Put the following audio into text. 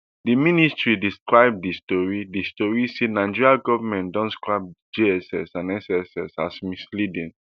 di ministry describe di tori di tori say nigeria goment don scrap jss and sss as misleading